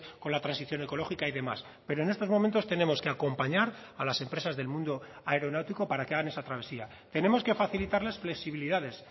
con la transición ecológica y demás pero en estos momentos tenemos que acompañar a las empresas del mundo aeronáutico para que hagan esa travesía tenemos que facilitarles flexibilidades